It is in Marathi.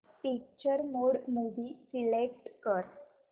पिक्चर मोड मूवी सिलेक्ट कर